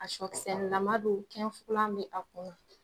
A sɔkisɛlama bɛ yen bɛ a kɔnɔ